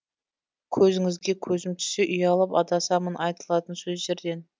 көзіңізге көзім түссе ұялып адасамын айтылатын сөздерден